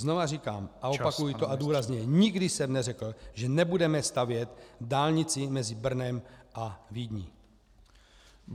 Znovu říkám a opakuji to, a důrazně , nikdy jsem neřekl, že nebudeme stavět dálnici mezi Brnem a Vídní.